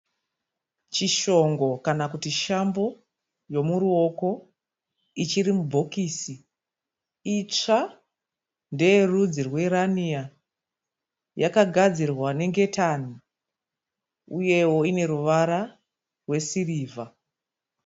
Chishongo kana kuti shambo yomuruoko ichiri mubhokisi, itsva ndeyerudzi rweraniya yakagadzirwa nengetani uyewo ineruvara rwesirivha.